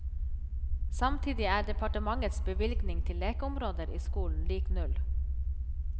Samtidig er departementets bevilgning til lekeområder i skolen lik null.